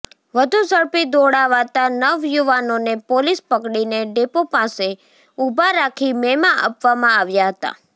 વધુ ઝડપી દોડાવાતા નવ યુવાનોને પોલીસ પકડીને ડેપો પાસે ઉભા રાખી મેમા આપવામાં આવ્યા હતા